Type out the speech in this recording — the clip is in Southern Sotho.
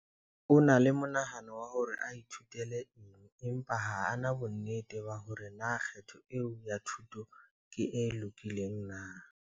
O na le monahano wa hore a ithutele eng empa ha a na bonnete ba hore na kgetho eo ya thuto ke e lokileng na.